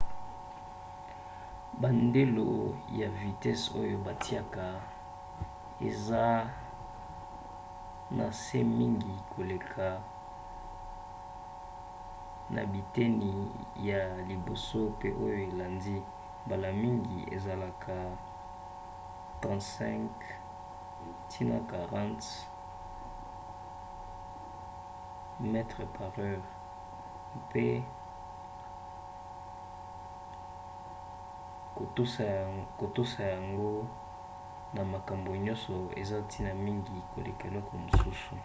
bandelo ya vitese oyo batiaka eza na se mingi koleka na biteni ya liboso pe oyo elandi — mbala mingi ezalaka 35-40 mph 56-64 km/h — mpe kotosa yango na makambo nyonso eza ntina mingi koleka eloko mosusu